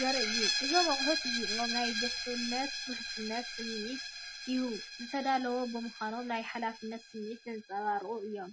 ዘርኢ እዩ። እዞም ኣቑሑት እዚኦም ናይ ድሕነትን ውሕስነትን ስምዒት ይህቡ። ዝተዳለዉ ብምዃኖም ናይ ሓላፍነት ስምዒት ዘንጸባርቑ እዮም።